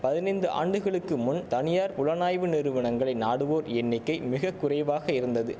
பதினைந்து ஆண்டுகளுக்கு முன் தனியார் புலனாய்வு நிறுவனங்களை நாடுவோர் எண்ணிக்கை மிக குறைவாக இருந்தது